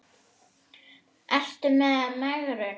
Ertu ekki í megrun?